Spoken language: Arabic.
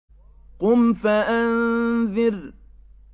قُمْ فَأَنذِرْ